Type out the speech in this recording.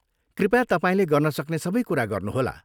कृपया तपाईँले गर्न सक्नै सबै कुरा गर्नुहोला।